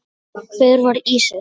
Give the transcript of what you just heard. Hver var Ísis?